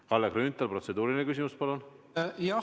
Kalle Grünthal, protseduuriline küsimus, palun!